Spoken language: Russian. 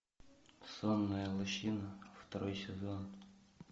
сонная лощина второй сезон